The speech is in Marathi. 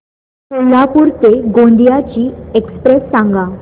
कोल्हापूर ते गोंदिया ची एक्स्प्रेस सांगा